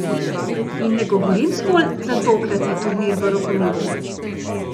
In ne govorim zgolj za tokratni turnir v rokometu.